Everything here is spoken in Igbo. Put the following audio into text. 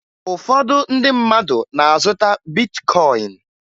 Ụfọdụ ndị mmadụ na-azụta bitkọyịn